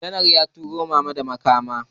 Janar ya turo mana da makaman